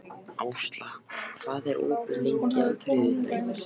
Ásla, hvað er opið lengi á þriðjudaginn?